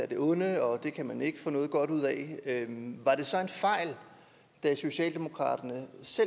det onde og at det kan man ikke få noget godt ud af var det så en fejl da socialdemokratiet